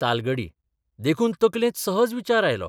तालगडी देखून तकलेंत सहज विचार आयलो.